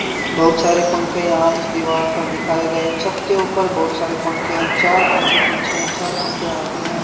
बहुत सारे पंखे यहां इस दीवार पर दिखाए गए हैं छत के ऊपर बहुत सारे पंखे हैं चार पंखे पीछे हैं चार पंखे आगे हैं।